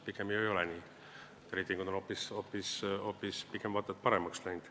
Pigem ei ole ju nii, reitingud on vaat et paremaks läinud.